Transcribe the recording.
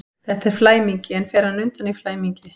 Þetta er flæmingi, en fer hann undan í flæmingi?